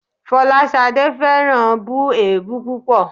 Fọláṣadé fẹ́ràn bù èébú púpọ̀